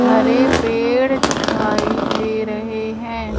हरे पेड़ दिखाई दे रहे हैं।